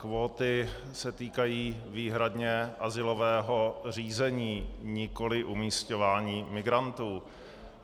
Kvóty se týkají výhradně azylového řízení, nikoli umisťování migrantů.